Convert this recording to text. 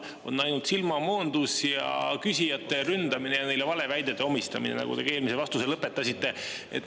On ainult silmamoondus ja küsijate ründamine ja neile valeväidete omistamine, millega te ka eelmise vastuse lõpetasite.